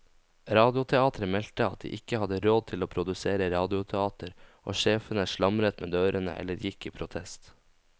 Radioteateret meldte at de ikke hadde råd til å produsere radioteater, og sjefene slamret med dørene eller gikk i protest.